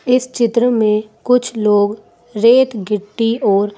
इस चित्र में कुछ लोग रेत गिट्टी और--